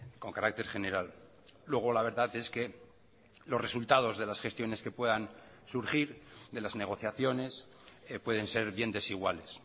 con carácter general luego la verdad es que los resultados de las gestiones que puedan surgir de las negociaciones pueden ser bien desiguales